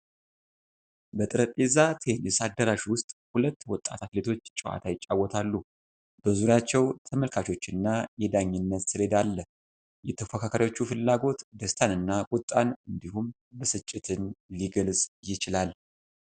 በጠረጴዛ ቴኒስ አዳራሽ ውስጥ ሁለት ወጣት አትሌቶች ጨዋታ ይጫወታሉ። በዙሪያቸው ተመልካቾች እና የዳኝነት ሰሌዳ አለ። የተፎካካሪዎቹ ፍላጎት ደስታንና ቁጣን እንዲሁም ብስጭትን ሊገልጽ ይችላል።